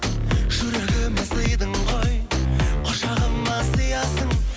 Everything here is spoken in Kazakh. жүрегіме сыйдың ғой құшағыма сыйясың